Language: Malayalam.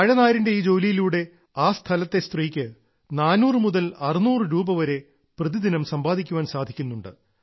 വാഴനാരിന്റെ ഈ ജോലിയിലൂടെ ആ സ്ഥലത്തെ സ്ത്രീക്ക് 400 മുതൽ 600 രൂപ വരെ പ്രതിദിനം സമ്പാദിക്കാൻ സാധിക്കുന്നുണ്ട്